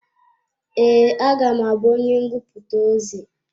Ee, a ga m abú onye ngụputa ozi.